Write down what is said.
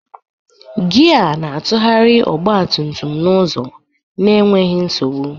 Gia na-atụgharị ọgba tum tum n'ụzọ n'enweghị nsogbu.